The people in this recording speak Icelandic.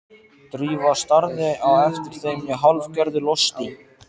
Drífa starði á eftir þeim í hálfgerðu losti.